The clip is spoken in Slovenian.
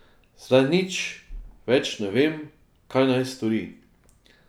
Zdaj nič več ne ve, kaj naj stori.